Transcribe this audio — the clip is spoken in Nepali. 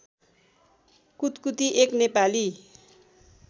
कुतकुती एक नेपाली